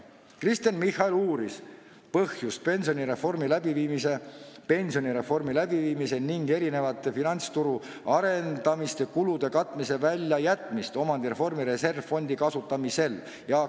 Kristen Michal uuris, miks on pensionireformi läbiviimise ning erinevate finantsturu arendamise kulude katmine omandireformi reservfondi kasutamisest välja jäetud.